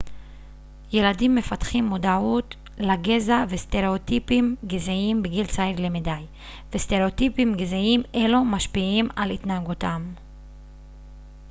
ילדים מפתחים מודעות לגזע וסטראוטיפים גזעיים בגיל צעיר למדי וסטראוטיפים גזעיים אלו משפיעים על התנהגותם